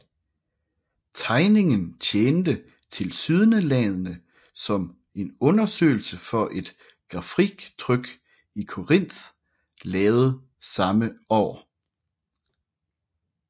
Tegningen tjente tilsyneladende som en undersøgelse for et grafiktryk Corinth lavede samme år